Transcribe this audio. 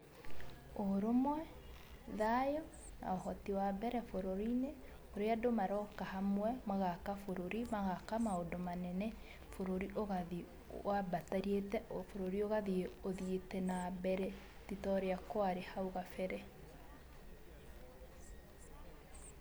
Ũrũmwe, thayũ na ũhoti wambere bũrũri-inĩ ũrĩa andũ maroka hamwe, magaka bũrũri magaka maũndũ manene, bũrũri ũgathiĩ wambatĩrĩte, o bũrũri ũgathiĩ nambere, titorĩa kwarĩ nahau gabere.